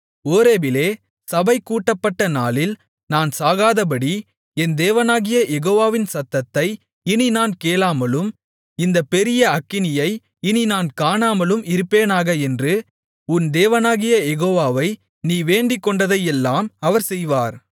ஓரேபிலே சபை கூட்டப்பட்ட நாளில் நான் சாகாதபடி என் தேவனாகிய யெகோவாவின் சத்தத்தை இனி நான் கேளாமலும் இந்தப் பெரிய அக்கினியை இனி நான் காணாமலும் இருப்பேனாக என்று உன் தேவனாகிய யெகோவாவை நீ வேண்டிக்கொண்டதையெல்லாம் அவர் செய்வார்